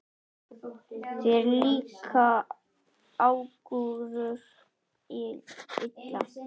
Þér líka ákúrur illa.